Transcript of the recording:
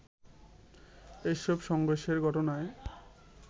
এসব সংঘর্ষের ঘটনায়